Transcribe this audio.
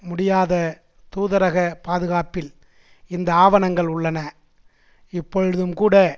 முடியாத தூதரகப் பாதுகாப்பில் இந்த ஆவணங்கள் உள்ளன இப்பொழுதும்கூட